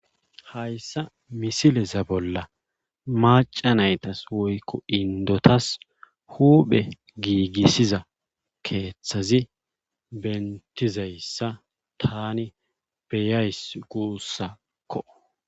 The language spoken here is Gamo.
hayssa misileza bolla maca naytas woykko indotas huphe giigissiza keeththazi bentizayssa tani beyays guussakko